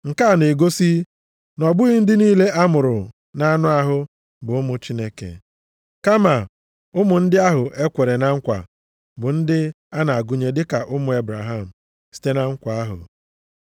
Nke a na-egosi na ọ bụghị ndị niile a mụrụ na-anụ ahụ bụ ụmụ Chineke, kama ụmụ ndị ahụ e kwere na nkwa bụ ndị a na-agụnye dị ka ụmụ Ebraham site na nkwa ahụ.